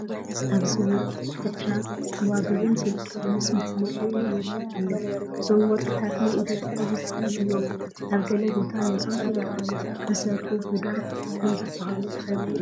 ኣብዚ ወርቂ ኩትቻ፣ ጐባጉብን ዝብጦን ምስ መዕነቒኡ ይርአ ኣሎ፡፡ እዞም ወርቅታት ናይ ኢደ ጥበብ ውፅኢት እዮም፡፡ ኣብ ገለ ቦታ ነዞም ጥበባት ዝሰርሑ ቡዳ ከምዝበሃሉ ትፈልጡ ዶ?